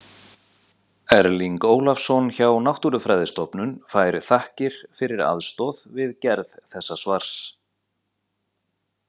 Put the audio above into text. Erling Ólafsson hjá Náttúrufræðistofnun fær þakkir fyrir aðstoð við gerð þessa svars.